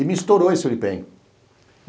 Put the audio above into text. E me estourou esse Uripen.